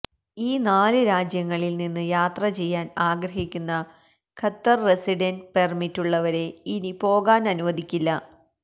ഈ നാല് രാജ്യങ്ങളില് നിന്ന് യാത്ര ചെയ്യാന് ആഗ്രഹിക്കുന്ന ഖത്തര് റസിഡന്റ് പെര്മിറ്റുള്ളവരെ ഇനി പോകാനനുവദിക്കില്ല